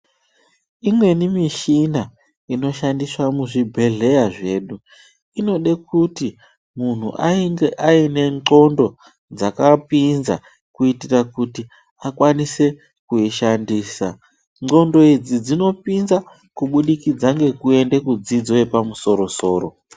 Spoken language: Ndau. Imweni mishina inoshandiswa muzvibhedhleya zvedu inode kuti munhu ainge aine ndxondo dzakapinza kuitira kuti akwanise kuishandisa. Ndxondo idzi dzinopinza kubudikidza ngekuende kudzidzo yepamusoro-soro.